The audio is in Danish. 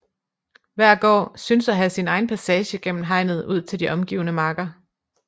Hver gård synes at have sin egen passage gennem hegnet ud til de omgivende marker